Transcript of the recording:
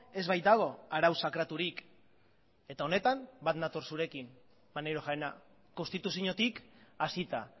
ez baitago arau sakraturik eta honetan bat nator zurekin maneiro jauna konstituziotik hasita